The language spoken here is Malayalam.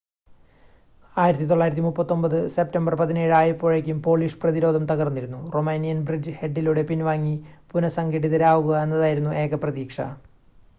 1939 സെപ്റ്റംബർ 17 ആയപ്പോഴേക്കും പോളിഷ് പ്രതിരോധം തകർന്നിരുന്നു റൊമാനിയൻ ബ്രിഡ്ജ് ഹെഡിലൂടെ പിൻവാങ്ങി പുനഃസംഘടിതരാവുക എന്നതായിരുന്നു ഏക പ്രതീക്ഷ